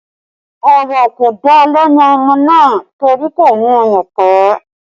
Ọ̀rọ̀ kò dá lẹ́nu ọmọ náà torí kò mú ọyàn pé